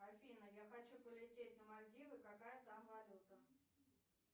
афина я хочу полететь на мальдивы какая там валюта